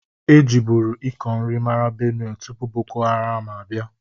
E jibụru ịkọ nri mara Benue tụpụ boko haram abia.